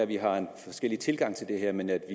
vi har en forskellig tilgang til det her men jeg